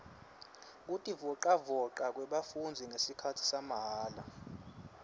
kutivolavoca kwebafundzi ngesikhatsi samahala